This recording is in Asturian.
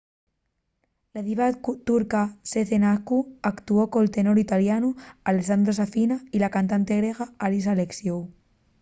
la diva turca sezen aksu actuó col tenor italianu alessandro safina y la cantante griega haris alexiou